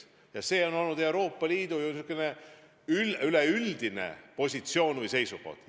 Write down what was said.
Ja see on olnud Euroopa Liidu üldine positsioon või seisukoht.